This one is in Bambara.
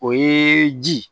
O ye ji ye